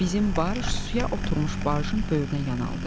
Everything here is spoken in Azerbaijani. Bizim barj suya oturmuş barjın böyrünə yanaldı.